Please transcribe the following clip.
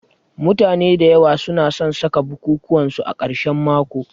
Mutane da yawa su na san saka bukukuwan su a karshen mako